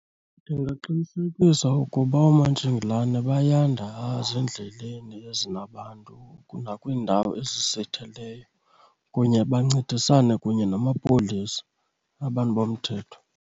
Ndingaqinisekisa ukuba oomantshingilane bayanda ezindleleni ezinabantu nakwiindawo ezisitheleyo kunye bancedisane kunye namapolisa, abantu bomthetho.